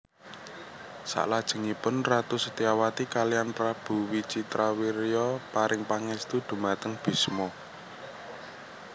Saklajengipun Ratu Setyawati kaliyan Prabu Wicitrawirya paring pangestu dhumateng Bisma